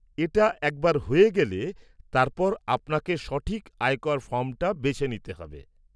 এটা একবার হয়ে গেলে, তারপর আপনাকে সঠিক আয়কর ফর্মটা বেছে নিতে হবে।